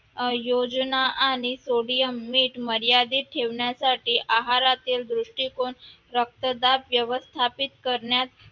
आयोजन आणि sodium मीठ मर्यादित ठेवण्यासाठी आहारातील दृष्टीकोन रक्तदाब व्यवस्थापित करण्यात